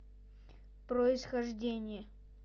происхождение